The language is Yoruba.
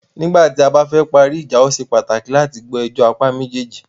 Nígbà tí a bá fẹ parí ìjà,o ṣe pàtàkì láti gbọ́ ẹjọ́ apá méjèèjì.